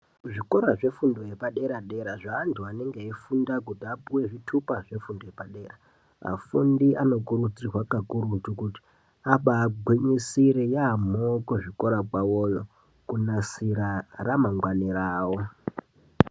Kuzvikora zvefundo yepadera dera zvevantu anenge eifunda kuti apuwe zvitupa zvefundo yepadera, afundi anokurudzirwa kakurutu kuti abagwinyisire yaemho kuzvikora kwavoyo kunasira ramangwani ravo.